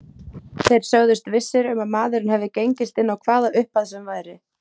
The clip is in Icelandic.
Þeir sögðust vissir um að maðurinn hefði gengist inn á hvaða upphæð sem væri.